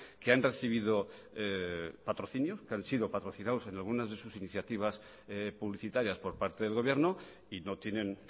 que han recibido patrocinio que han sido patrocinados en algunas de sus iniciativas publicitarias por parte del gobierno y no tienen